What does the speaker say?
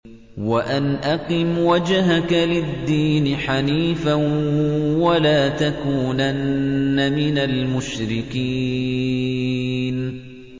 وَأَنْ أَقِمْ وَجْهَكَ لِلدِّينِ حَنِيفًا وَلَا تَكُونَنَّ مِنَ الْمُشْرِكِينَ